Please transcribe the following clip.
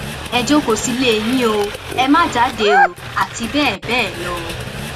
ẹ jókòó sílé yín o ẹ má jáde àti bẹẹ bẹẹ lọ